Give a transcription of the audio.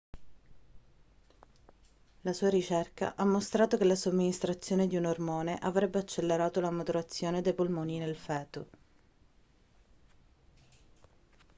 la sua ricerca ha mostrato che la somministrazione di un ormone avrebbe accelerato la maturazione dei polmoni nel feto